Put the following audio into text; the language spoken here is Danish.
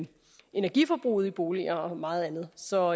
energiforbruget i boliger og meget andet så